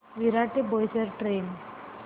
विरार ते बोईसर ट्रेन